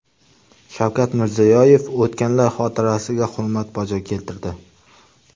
Shavkat Mirziyoyev o‘tganlar xotirasiga hurmat bajo keltirdi.